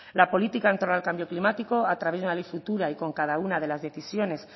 la política en torno al cambio climático a través de una ley futura y con cada una de las decisiones